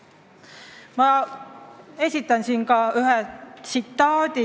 Ma esitan siin ühe tsitaadi.